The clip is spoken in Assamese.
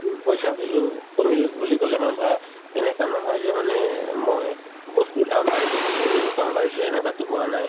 উম, পইচাৰ value কমিল বুলি ক'লে মানে ধৰা এনেকা নহয় যে মানে মই বস্তুৰ দাম বাঢ়িছে to নৰিম দাম বাঢ়িছে এনেকুৱাতো হোৱা নাই